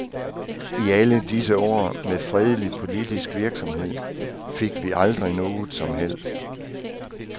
I alle disse år med fredelig politisk virksomhed fik vi aldrig noget som helst.